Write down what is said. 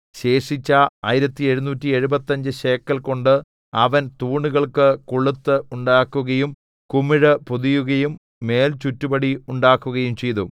ശേഷിച്ച ആയിരത്തി എഴുനൂറ്റി എഴുപത്തഞ്ച് ശേക്കെൽകൊണ്ട് അവൻ തൂണുകൾക്ക് കൊളുത്ത് ഉണ്ടാക്കുകയും കുമിഴ് പൊതികയും മേൽചുറ്റുപടി ഉണ്ടാക്കുകയും ചെയ്തു